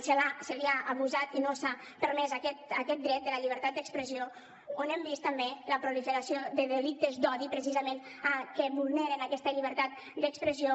s’ha abusat i no s’ha permès aquest dret de la llibertat d’expressió on hem vist també la proliferació de delictes d’odi precisament que vulneren aquesta llibertat d’expressió